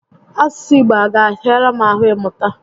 Asụsụ Igbo a ga ahịara m ahụ ị mụta?